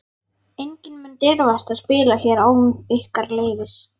Enginn mun dirfast að spila hér án ykkar leyfis.